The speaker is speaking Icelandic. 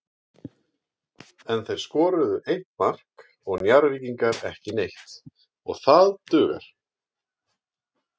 En þeir skoruðu eitt mark og Njarðvíkingar ekki neitt og það dugar.